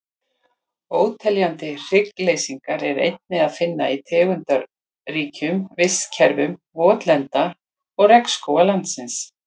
Óteljandi hryggleysingja er einnig að finna í tegundaríkum vistkerfum votlenda og regnskóga landsins.